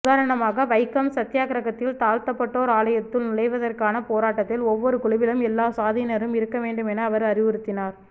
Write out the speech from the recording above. உதாரணமாக வைக்கம் சத்யாக்கிரகத்தில் தாழ்த்தப்பட்டோர் ஆலயத்துள் நுழைவதற்கான போராட்டத்தில் ஒவ்வொரு குழுவிலும் எல்லா சாதியினரும் இருக்கவேண்டுமென அவர் அறிவுறுத்தினார்